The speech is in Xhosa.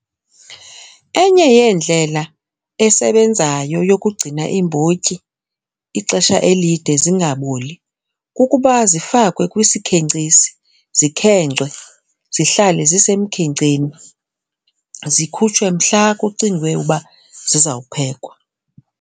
Enye yeendlela esebenzayo yokugcina iimbotyi ixesha elide zingaboli kukuba zifakwe kwisikhenkcisi zikhenkcwe zihlale zisemkhenkceni zikhutshwe mhla kucingwe uba zizawuphekwa.